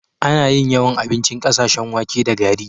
Ana yin yawan abincin ƙasashen wake da gari.